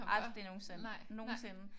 Aldrig nogensinde. Nogensinde